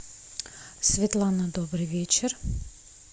светлана добрый вечер